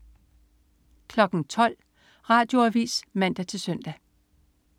12.00 Radioavis (man-søn)